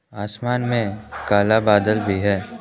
आसमान में काला बादल भी है।